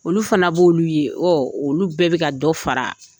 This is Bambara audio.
Olu fana b'olu ye ɔ olu bɛɛ bɛ ka dɔ fara